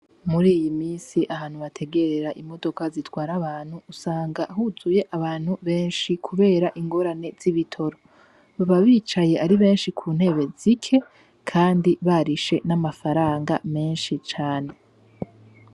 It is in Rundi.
Muri iyi minsi ahantu bategerera imodoka usanga huzuye abantu benshi kubera ingorane z'ibitoro, baba bicaye ari benshi kuntebe zike Kandi barishe n'amafaranga menshi cane.